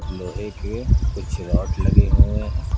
लोहे के कुछ रॉड लगे हुए हैं।